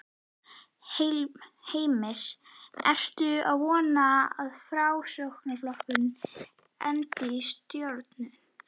Heimir: Ertu að vona að Framsóknarflokkurinn endi í stjórn?